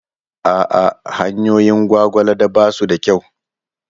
A'a, hanyoyin Gwagwalada ba su da kyau.